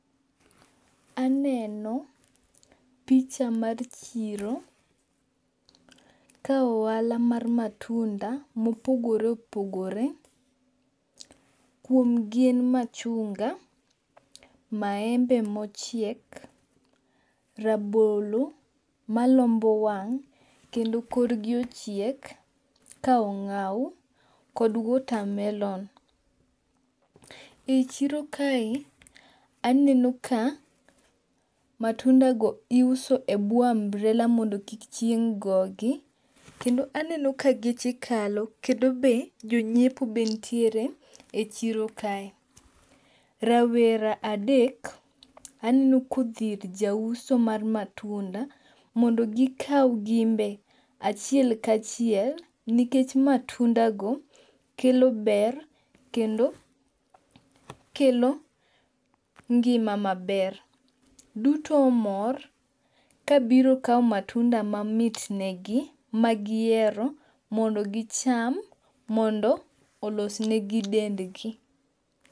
Aneno picha mar chiro. Ka ohala mar matunda mopogore opogore. Kuom gi en machunga, maembe mochiek, rabolo malombo wang' kendo kor gi ochiek ka ong'aw kod watermelon. E chiro kae aneno ka matunda go iuso e buo umbrella mondo kik chieng' go gi kendo aneno ka geche kalo kendo be jonyiepo be nitiere e chiro ka. Rawera adek aneno kodhi ir jauso mar matunda mondo gikaw gin be achiel kachiel. Nikech matunda go kelo ber kendo kelo ngima maber. Duto omor kabiro kaw matunda ma mit negi ma gihero mondo gicham mondo olos negi dendgi.